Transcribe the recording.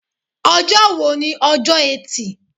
Ọjọ́ wo ni ọjọ́ etí